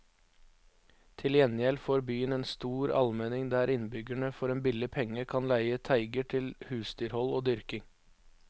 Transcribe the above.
Til gjengjeld får byen en stor almenning der innbyggerne for en billig penge kan leie teiger til husdyrhold og dyrking.